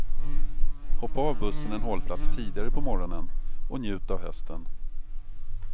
Hoppa av bussen en hållplats tidigare på morgonen och njut av hösten.